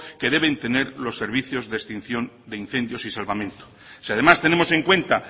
que deben tener los servicios de extinción de incendios y salvamento si además tenemos en cuenta